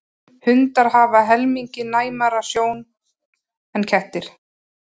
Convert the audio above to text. Hundar hafa helmingi næmari sjón en kettir.